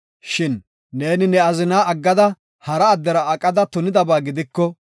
Shin neeni ne azina aggada hara addera aqada tunidaba gidiko,